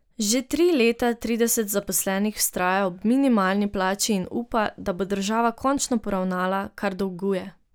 Že tri leta trideset zaposlenih vztraja ob minimalni plači in upa, da bo država končno poravnala, kar dolguje.